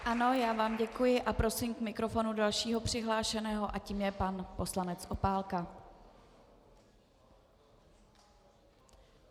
Ano, já vám děkuji a prosím k mikrofonu dalšího přihlášeného a tím je pan poslanec Opálka.